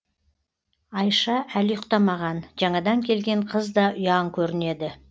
аиша әлі ұйықтамаған жаңадан келген қыз да ұяң көрінеді